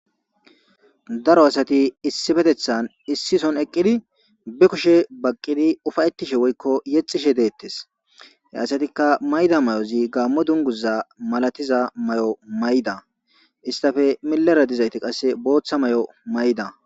Daro asati issi patethan issi son eqqidi be kushe baqqidi ufayettishe woykko yexishe deettes hyasatikka mayda may7ozi gaammo dunguza malatiza may7o mayda istafe milara dizayti qasse booththa may7o mayda.